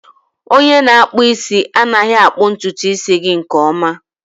Onye na-akpụ isi anaghị akpụ ntutu isi gị nke ọma